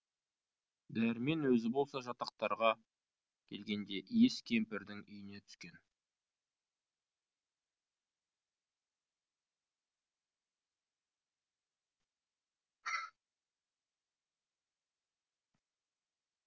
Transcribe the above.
дәрмен өзі болса жатақтарға келгенде иіс кемпірдің үйіне түскен